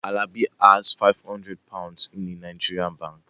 Alabi has five hundred Pounds in a Nigerian bank